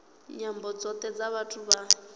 nyambo dzothe dza vhathu vha